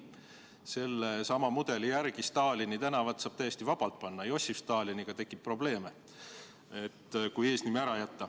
Selle sama mudeli järgi saab Stalinit tänavanimeks täiesti vabalt panna, Jossif Staliniga tekib probleeme.